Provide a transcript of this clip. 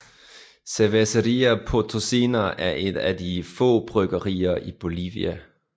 Cervecería Potosina er et af de få bryggerier i Bolivia